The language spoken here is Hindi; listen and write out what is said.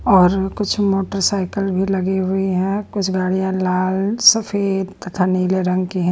और कुछ मोटरसाइकिल भी लगी हुई हैं कुछ गाड़ियाँ लाल सफेद तथा नीले रंग की है।